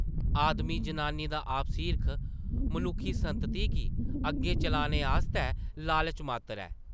आदमी जनानी दा आपसी हिरख मनुक्खी संतती गी अग्गें चलाने आस्तै लालच मात्तर ऐ ।